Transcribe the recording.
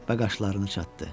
Və qaşlarını çatdı.